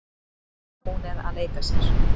Hún er að leika sér.